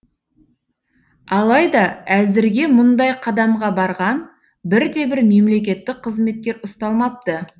алайда әзірге мұндай қадамға барған бір де бір мемлекеттік қызметкер ұсталмапты